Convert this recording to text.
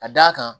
Ka d'a kan